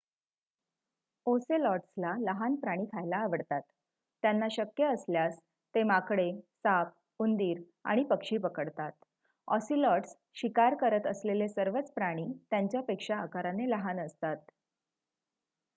ओसेलॉट्सला लहान प्राणी खायला आवडतात त्यांना शक्य असल्यास ते माकडे साप उंदीर आणि पक्षी पकडतात ऑसिलॉट्स शिकार करत असलेले सर्वच प्राणी त्यांच्यापेक्षा आकाराने लहान असतात